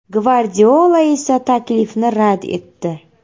Gvardiola esa taklifni rad etdi.